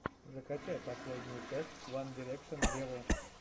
закачай последнюю часть ван дирекшен вево